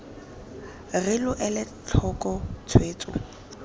re lo ele tlhoko tshwetso